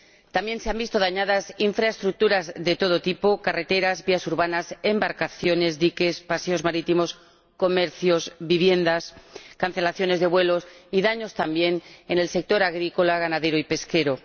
También se han visto dañadas infraestructuras de todo tipo —carreteras, vías urbanas, embarcaciones, diques, paseos marítimos, comercios, viviendas—, se han producido cancelaciones de vuelos y daños asimismo en el sector agrícola, ganadero y pesquero.